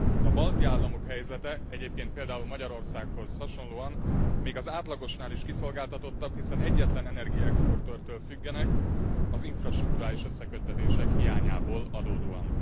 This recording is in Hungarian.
A balti államok helyzete egyébként például Magyarországhoz hasonlóan még az átlagosnál is kiszolgáltatottabb, hiszen egyetlen energiaexportőrtől függenek az infrastrukturális összeköttetések hiányából adódóan.